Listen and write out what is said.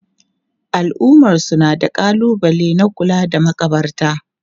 Al'ummarsu na da kalubale na kula da makabarta.